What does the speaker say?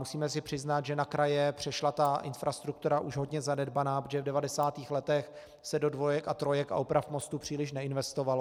Musíme si přiznat, že na kraje přešla ta infrastruktura už hodně zanedbaná, protože v 90. letech se do dvojek a trojek a oprav mostů příliš neinvestovalo.